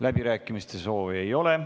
Läbirääkimiste soovi ei ole.